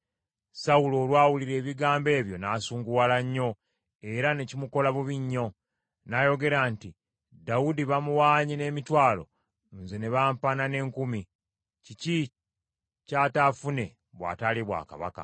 Sawulo olwawulira ebigambo ebyo n’asunguwala nnyo, era ne kimukola bubi nnyo. N’ayogera nti, “Dawudi bamuwaanye n’emitwalo, nze ne bampaana n’enkumi; kiki ky’ataafune bw’ataalye bwakabaka?”